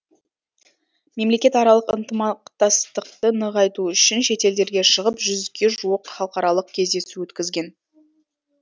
мемлекетаралық ынтымақтастықты нығайту үшін шетелдерге шығып жүзге жуық халықаралық кездесу өткізген